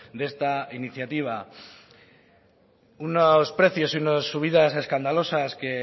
de esta iniciativa unos precios y unas subidas escandalosas que